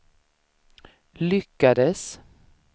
lyckades